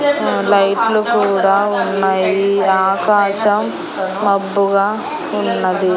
Light లు కూడా ఉన్నయి ఆకాశం మబ్బుగా ఉన్నది.